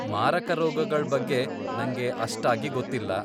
ಮಾರಕ ರೋಗಗಳ್ ಬಗ್ಗೆ ನಂಗೆ ಅಷ್ಟಾಗಿ ಗೊತ್ತಿಲ್ಲ.